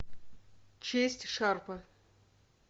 честь шарпа